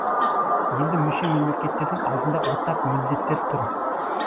енді мүше мемлекеттердің алдында ортақ міндеттер тұр